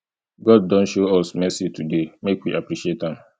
god don show us new mercy today make we appreciate am